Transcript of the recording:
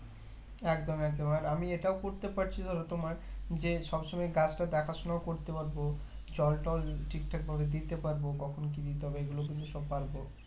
একদম একদম আর আমি এটাও করতে পারছি তোমার যে সব সময় গাছটা দেখাশোনা করতে পারবো জল টল ঠিকঠাক ভাবে দিতে পারবো কখন কি দিতে এগুলো কিন্তু সব পারবো